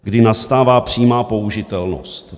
Kdy nastává přímá použitelnost?